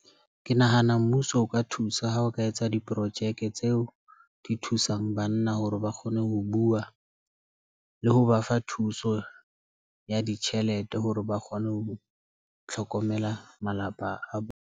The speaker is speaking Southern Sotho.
Ke nahana mmuso o ka thusa ha o ka etsa diporojeke tseo di thusang banna hore ba kgone ho bua, le ho ba fa thuso ya ditjhelete hore ba kgone ho tlhokomela malapa a bona.